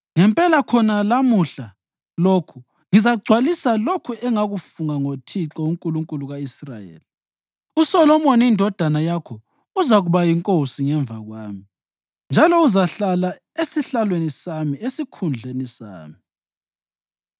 ngempela khona lamuhla lokhu ngizagcwalisa lokho engakufunga ngoThixo, uNkulunkulu ka-Israyeli: uSolomoni indodana yakho uzakuba yinkosi ngemva kwami, njalo uzahlala esihlalweni sami esikhundleni sami.”